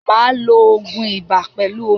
Máa lo ògun ibà pẹlú omi.